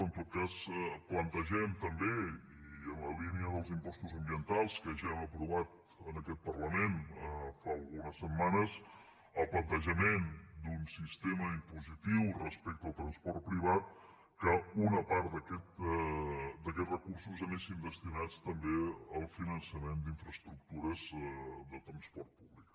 en tot cas plantegem també i en la línia dels impostos ambientals que ja hem aprovat en aquest parlament fa algunes setmanes un sistema impositiu respecte al transport privat que una part d’aquests recursos anessin destinats també al finançament d’infraestructures de transport públic